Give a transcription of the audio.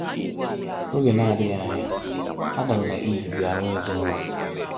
Oge na adighi anya, adam na eve bia nwee ezinụlọ